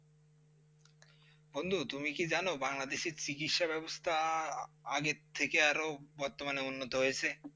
বন্ধু তুমি কি জানো বাংলাদেশ এ চিকিৎসা ব্যবস্থা আগের থেকে আরো বর্তমানে উন্নত হয়েছে?